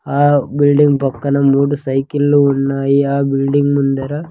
ఆ బిల్డింగ్ పక్కన మూడు సైకిళ్ళు ఉన్నాయి ఆ బిల్డింగ్ ముందర--